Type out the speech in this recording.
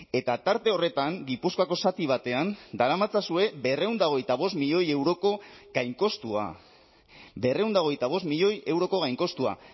eta tarte horretan gipuzkoako zati batean daramatzazue berrehun eta hogeita bost milioi euroko gainkostua berrehun eta hogeita bost milioi euroko gainkostua